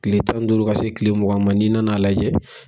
Tile tan duuru ka se tile mugan ma n'i nan'a lajɛ